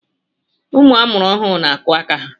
Ụmụ amụrụ ọhụụ n'akụ aka ha